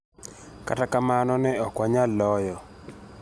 kata kamano ne okwanyal loyo